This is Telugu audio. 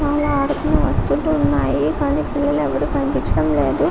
చాలా ఆడుకునే వస్తువులు ఉన్నాయి కానీ పిల్లలు ఎవరు కనిపించడం లేదు